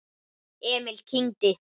Emil kyngdi.